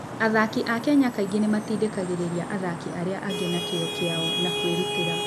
Athaki a Kenya kaingĩ nĩ matindĩkagĩrĩria athaki arĩa angĩ na kĩyo kĩao na kwĩrutĩra.